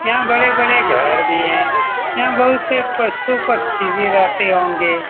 यहाँ बड़े-बड़े घर भी हैं यहां बहुत से पशु-पछी भी रहते होंगे।